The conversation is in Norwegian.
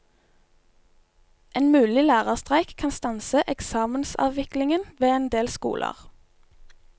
En mulig lærerstreik kan stanse eksamensaviklingen ved en del skoler.